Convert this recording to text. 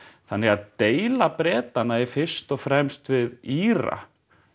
þannig að deila Bretanna er fyrst og fremst við Íra